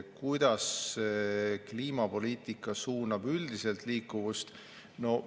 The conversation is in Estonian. Kuidas kliimapoliitika suunab üldiselt liikuvust?